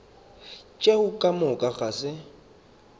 tšeo ka moka ga se